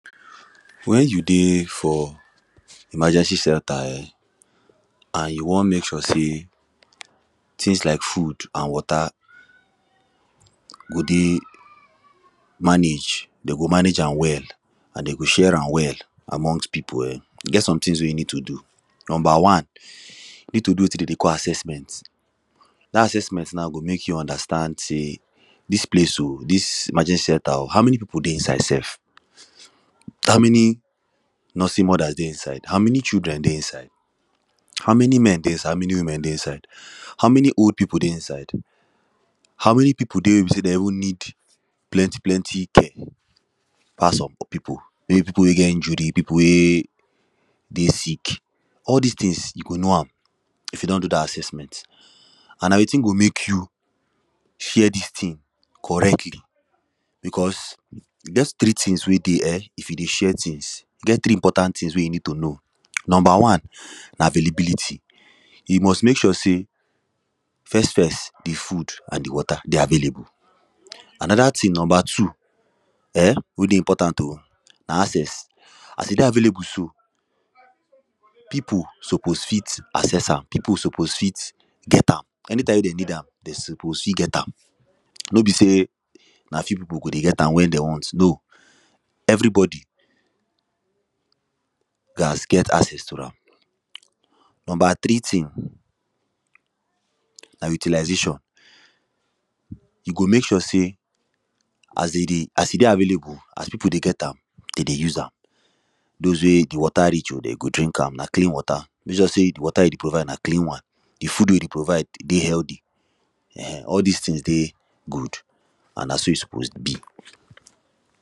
Where you dey for emergency centre um, and you wan mek sure say things lak food and water go dey manage, them go manage am well. and them go share am well, amongst people um, e get some things wey you need to do, number one: you need to do wetin them dey call assessment dat assessment now go mek you understand say dis place o, dis emergency centre o, how many people dey inside sef? how many nursery mother dey inside? how many children dey inside? how many men dey inside? how many women dey inside? how many old people dey inside? how many people dey wey be say they even need plenty, plenty thing pass some people. maybe people wey get injury, people wey dey sick. all dis things you go know am if you don do dat assessment, and na wetin go mek you share dis thing correctly. beause, e get some three things wey dey um, if you dey share things. e get three important things wey you need to know. number one: na availability, you must mek sure say first first, the food and the water they available. Another thing, number two, um wey dey important o na access, as you dey available so, people suppose fit assess am, people suppose fit get am, anytime wey them need am, them suppose fit get am. no be say na few people go dey get am when they want, no! Everybody gat get access to am. Number three thing: na utilization you go mek sure say as they dey, as e dey available, as people dey get am, them go dey use am. those wey the water reach o, them go drink am, na clean water. Mek sure say the water you dey provide na clean one. The food wey you dey provide dey healthy um all dis things dey good and na so e suppose be.